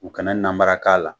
U kana namara k'a la